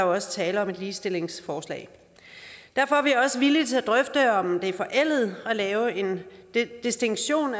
også tale om et ligestillingsforslag derfor er vi også villige til at drøfte om det er forældet at lave en distinktion